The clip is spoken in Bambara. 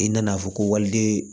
I nana fɔ ko waliden